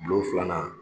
Bulon filanan